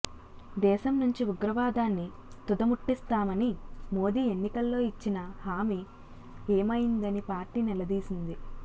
దేశంనుంచి ఉగ్రవాదాన్ని తుదముట్టిస్తామని మోదీ ఎన్నికల్లో ఇచ్చిన హామీ ఏమైందని పార్టీ నిలదీసింది